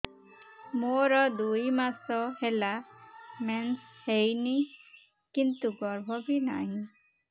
ମୋର ଦୁଇ ମାସ ହେଲା ମେନ୍ସ ହେଇନି କିନ୍ତୁ ଗର୍ଭ ବି ନାହିଁ